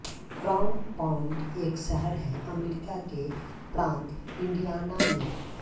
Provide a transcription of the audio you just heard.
crown Point एक शहर है अमेरिका के प्रान्त इंडियाना में